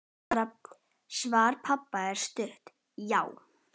Svar pabba var stutt: Já!